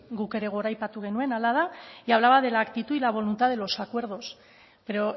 guk ere goraipatu genuen hala da y hablaba de la actitud y la voluntad de los acuerdos pero